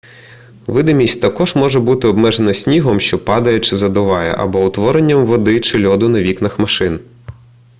видимість також може бути обмежена снігом що падає чи задуває або утворенням води чи льоду на вікнах машин